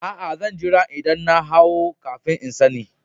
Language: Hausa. Aa, zan jira idan na haihu kafin n'sanni.